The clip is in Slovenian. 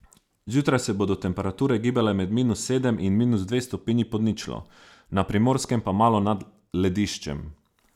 Zjutraj se bodo temperature gibale med minus sedem in minus dve stopinji pod ničlo, na Primorskem pa malo nad lediščem.